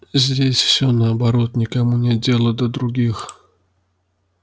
здесь все наоборот никому нет дела до других